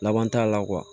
Laban t'a la